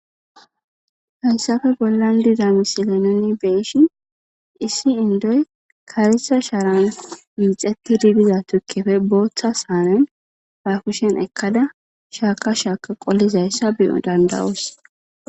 hansafe bollan diza misile nuni beishin issi indoy karisa shaaran miixetti dibiza tukkefe booththa saanen ha kushen ekkada shaaka shaaka qollizayssa biyo dandawoos